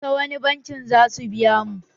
Ta wani banki za su biya mu?